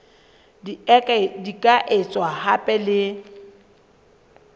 di ka etswa hape le